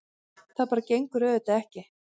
Það bara gengur auðvitað ekki.